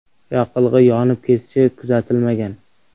Yoqilg‘i yonib ketishi kuzatilmagan.